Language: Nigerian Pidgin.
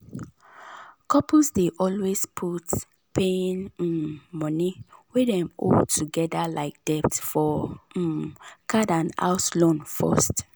couples dey always put paying um money wey dem owe togeda like debt for um card and house loan first